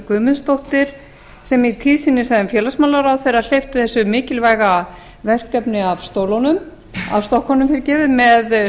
guðmundsdóttir sem í tíð sinni sem félagsmálaráðherra hleypti þessu mikilvæga verkefni af stokkunum með